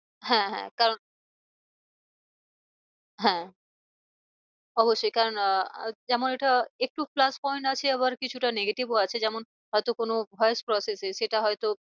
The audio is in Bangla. হ্যাঁ হ্যাঁ কারণ হ্যাঁ অবশ্যই কারণ আহ যেমন এটা একটু plus point আছে আবার কিছুটা negative ও আছে যেমন হয় তো কোনো voice process এ সেটা হয় তো